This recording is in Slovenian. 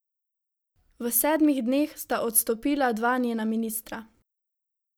V sedmih dneh sta odstopila dva njena ministra.